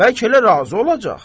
Bəlkə elə razı olacaq?